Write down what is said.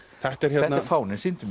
þetta er fáninn sýndu